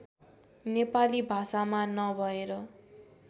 नेपाली भाषामा नभएर